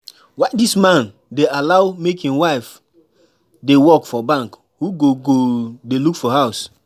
I hear say na you wey dey bring money for everything